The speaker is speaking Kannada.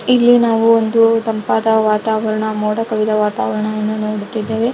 ಇಲ್ಲಿ ನಾವು ಒಂದು ತಂಪಾದ ವಾತಾವರಣ ಮೋಡ ಕವಿದ ವಾತಾವರಣವನ್ನು ನೋಡುತ್ತಿದ್ದೇವೆ .